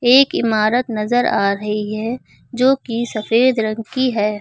एक इमारत नजर आ रही है जोकि सफेद रंग की है।